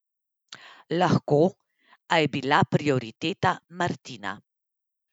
Lahko, a je bila prioriteta Martina.